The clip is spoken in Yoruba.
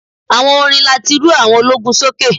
Àwọn orin láti rú àwọn ológun sókè.